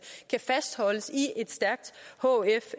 kan fastholdes i et stærkt hf